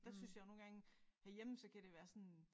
Der synes jeg jo nogle gange herhjemme så kan det være sådan